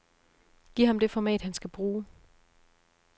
Giv ham det format, han skal bruge.